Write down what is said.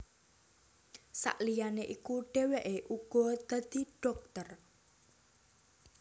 Sakliyané iku dhèwèké uga dadi dhokter